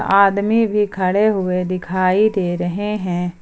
आदमी भी खड़े हुए दिखाई दे रहे हैं।